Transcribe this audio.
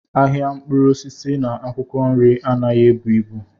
Ahịa mkpụrụ osisi na akwụkwọ nri anaghị ebu ibu.